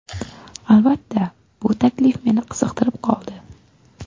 Albatta, bu taklif meni qiziqtirib qoldi.